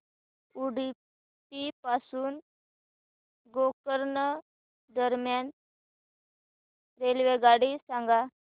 उडुपी पासून गोकर्ण दरम्यान रेल्वेगाडी सांगा